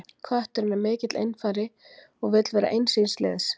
kötturinn er mikill einfari og vill vera eins síns liðs